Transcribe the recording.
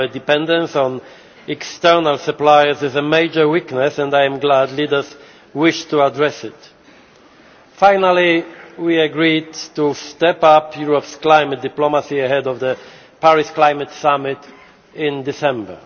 Our dependence on external suppliers is a major weakness and I am glad leaders wished to address it. Finally, we agreed to step up Europe's climate diplomacy ahead of the Paris Climate Summit in December.